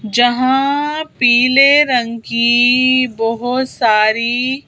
जहां पीले रंग की बहुत सारी--